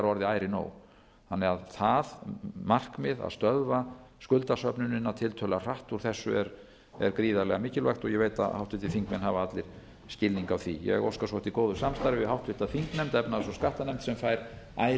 orðið ærið nóg það markmið að stöðva skuldasöfnunina tiltölulega hratt úr þessu er gríðarlega mikilvægt og ég veit að háttvirtir þingmenn hafa allir skilning á því ég óska svo eftir góðu samstarfi við háttvirta þingnefnd efnahags og skattanefnd sem fær